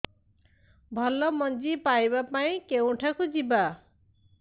ଭଲ ମଞ୍ଜି ପାଇବା ପାଇଁ କେଉଁଠାକୁ ଯିବା